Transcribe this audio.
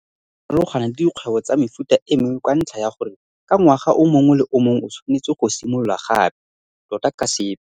Bolemirui bo farolgana le dikgwebo tsa mefuta e mengwe ka ntlha ya gore ka ngwaga o mongwe le o mongwe o tshwanetse go simolola gape, tota ka sepe.